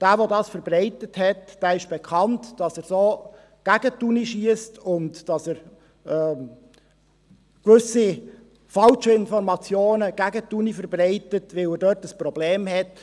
Von demjenigen, der das verbreitet hat, ist bekannt, dass er so gegen die Universität schiesst und dass er gewisse falsche Informationen gegen die Universität verbreitet, weil er dort ein Problem hat.